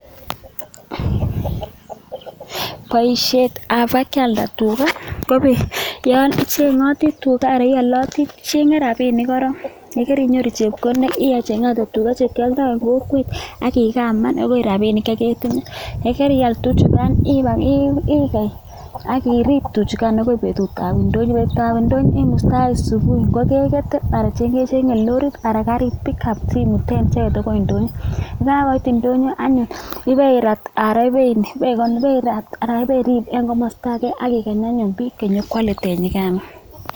Boisietab kibakealda tuga ko yon icheng'oti tua anan ioloti tuga, icheng'e rabinik korong, ye keinyoru chepkondok icheng'ate tuga che kioldo en kokwet ak igaman agoi rabinikk che ketinye. Ye keial tuchugan igei ak irib tuchugan agoi betut ab ndonyo. Betut ab ndonyo imustaen subui ngo kegete anan kecheng'e lorit anan garit pick-up simuten icheget agoi ndonyo. Ye kagoit ndonyo anyun ibeirat anan ibeirib en komoosta age ak igany anyun biik che nyo koale tinyigano.